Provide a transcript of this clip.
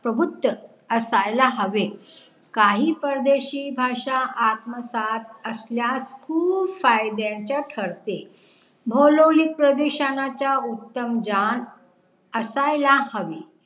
प्रभूतक असायला हवे काही परदेशी भाषा आत्मसात असल्यास खूब फायद्यांचा ठरते भोलोलीप प्रदेशनाच्या उत्तम ज्ञान असायला हवे